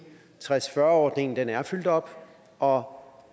tres ordningen er fyldt op og